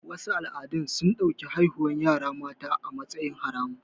Wasu al'adun sun ɗauki haihuwar yara mata a matsayin haramun